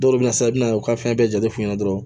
Dɔw bɛ na sa i bɛna u ka fɛn bɛɛ jate f'u ɲɛna dɔrɔn